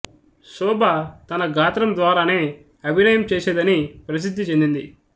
శోభ తన గాత్రం ద్వారానే అభినయం చేసేదని ప్రసిద్ధి చెందింది